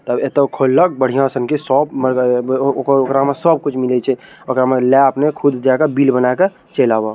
तब एते खोलब बढ़िया संग के सोप ओकरा ओकरा में सब कुछ मिले छे ओकरा में ला अपने खुद जा के बिल बना के चल आव।